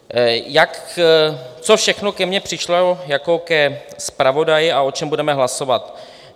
Co všechno ke mně přišlo jako ke zpravodaji a o čem budeme hlasovat.